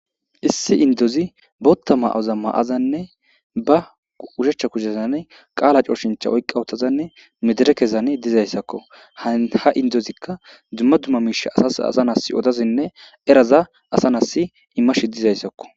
Issi indozi bootta ma'oza ma'azanne ba ushechcha kuzesane qaala cooshincha oyqqa otazanne medere kesane dizayssakko ha ha indozikka dzumma dumma miisha asas asa nas odazinne eraza asanas imma shidizayssakko